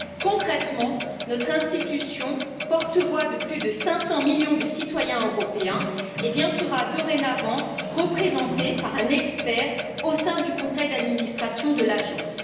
Concrètement, notre institution, porte voix de plus de 500 millions de citoyens européens, sera dorénavant représentée par un expert au sein du conseil d'administration de l'agence.